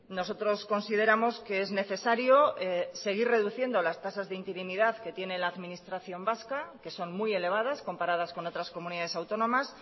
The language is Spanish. nosotros consideramos que es necesario seguir reduciendo las tasas de interinidad que tiene la administración vasca que son muy elevadas comparadas con otras comunidades autónomas